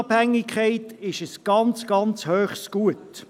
Die Unabhängigkeit ist ein äusserst hohes Gut.